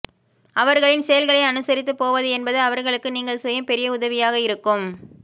அவர்களின் செயல்களை அனுசரித்து போவது என்பது அவர்களுக்கு நீங்கள் செய்யும் பெரிய உதவியாக இருக்கும்